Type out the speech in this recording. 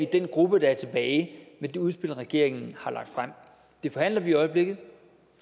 den gruppe der er tilbage med det udspil regeringen har lagt frem det forhandler vi i øjeblikket